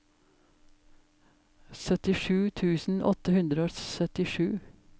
syttisju tusen åtte hundre og syttisju